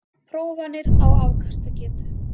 Prófanir á afkastagetu